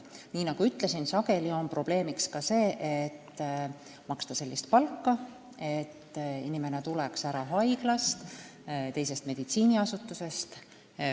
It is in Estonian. Nii nagu ütlesin, sageli on probleem selles, kuidas maksta niisugust palka, et inimene tuleks ära haiglast, teisest meditsiiniasutusest.